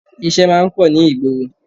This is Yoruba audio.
Ìṣe máa ń pọ̀ ní ìgboro